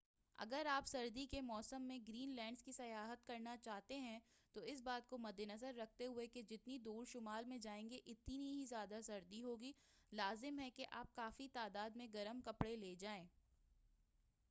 اگر آپ سردی کے موسم میں گرین لینڈ کی سیاحت کرنا چاہتے ہیں تو اس بات کو مدِ نظر رکھتے ہوئے کہ جتنی دور شمال میں جائیں گے اتنی ہی زیادہ سردی ہو گی لازم ہے کہ آپ کافی تعداد میں گرم کپڑے لے جائیں۔